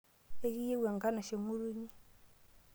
Ekiyeu enkanashe ng'utunyi.